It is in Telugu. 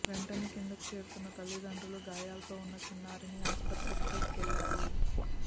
వెంటనే కిందకు చేరుకున్న తల్లిదండ్రులు గాయాలతో ఉన్న చిన్నారిని ఆసుపత్రికి తీసుకెళ్లారు